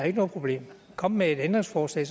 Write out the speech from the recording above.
ikke noget problem kom med et ændringsforslag